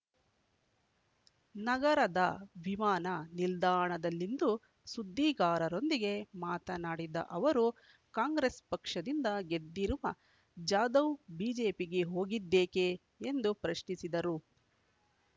ನಗರದ ವಿಮಾನ ನಿಲ್ದಾಣದಲ್ಲಿಂದು ಸುದ್ದಿಗಾರರೊಂದಿಗೆ ಮಾತನಾಡಿದ ಅವರು ಕಾಂಗ್ರೆಸ್ ಪಕ್ಷದಿಂದ ಗೆದ್ದಿರುವ ಜಾಧವ್ ಬಿಜೆಪಿಗೆ ಹೋಗಿದ್ದೇಕೆ ಎಂದು ಪ್ರಶ್ನಿಸಿದರು